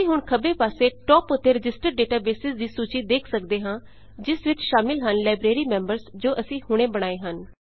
ਅਸੀਂ ਹੁਣ ਖੱਬੇ ਪਾਸੇ ਟਾਪ ਉੱਤੇ ਰਜਿਸਟਰਡ ਡੇਟਾਬੇਸਿਜ਼ ਦੀ ਸੂਚੀ ਵੇਖ ਸੱਕਦੇ ਹਾਂ ਜਿਸ ਵਿੱਚ ਸ਼ਾਮਿਲ ਹਨ ਲਾਈਬ੍ਰੇਰੀ ਮੈਂਬਰਜ਼ ਜੋ ਅਸੀਂ ਹੁਣੇ ਬਣਾਏ ਹਨ